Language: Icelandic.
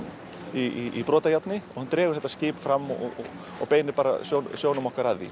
í brotajárni hann dregur þetta skip fram og og beinir sjónum okkar að því